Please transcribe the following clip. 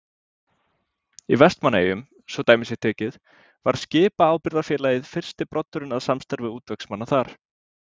Í Vestmannaeyjum, svo dæmi sé tekið, var Skipaábyrgðarfélagið fyrsti broddurinn að samstarfi útvegsmanna þar.